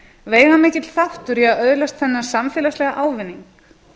veigamikill þáttur í að öðlast þennan samfélagslega ávinning